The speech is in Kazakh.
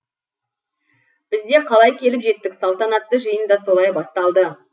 біз де қалай келіп жеттік салтанатты жиын да солай басталды